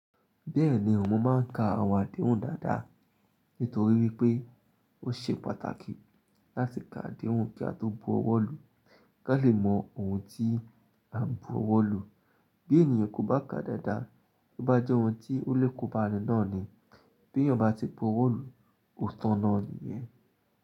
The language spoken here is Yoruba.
Bẹ́ẹ̀ni, mọ máa ń ka àwon àdéhùn dáadáa nítorí wípé ó ṣe pàtàkì láti ka àdehuní kí a tó bu ọwọ́ lu, kí a lè mọ ohun tí à ń bu ọwọ́ lu. Bí ènìyàn kò bá ka dáadáa, ó bá jẹ́ ohun tí ó lè kóba ni náà ni. Bí ènìyàn bá ti bu ọwọ́ lu, ó tán náà ni yẹn.